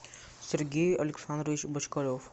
сергей александрович бочкарев